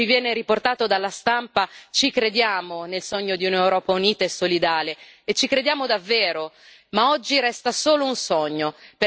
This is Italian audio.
Noi, signori, a differenza di quello che viene riportato dalla stampa, ci crediamo nel sogno di un'Europa unita e solidale, e ci crediamo davvero.